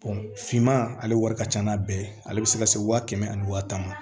finman ale wari ka ca n'a bɛɛ ye ale bɛ se ka se waa kɛmɛ ani waa tan ma